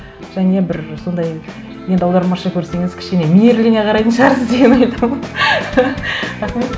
және бір сондай енді аудармашы көрсеңіз кішкене мейірлене қарайтын шығарсыз деген ойдамын рахмет